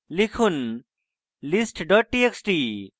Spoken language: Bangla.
লিখুন list txt txt